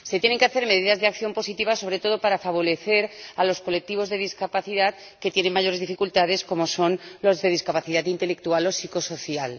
Se tienen que elaborar medidas de acción positivas, sobre todo para favorecer a los colectivos con discapacidad que tienen mayores dificultades, como son los de discapacidad intelectual o psicosocial.